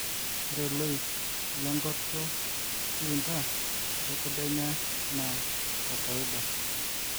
ore loik le ngoto kilindar le kedienye na kokoida